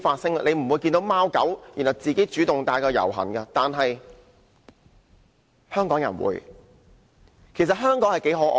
大家不會看到貓狗自己走上街遊行，但香港人會帶貓狗這樣做。